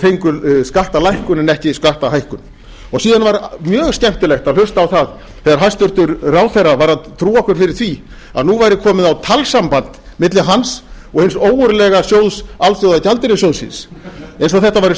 fengu skattalækkun en ekki skattahækkun síðan var mjög skemmtilegt að hlusta á það þegar hæstvirtur ráðherra var að trúa okkar fyrir því að nú væri komið á talsamband milli hans og hins ógurlega sjóðs alþjóðagjaldeyrissjóðsins eins og þetta væru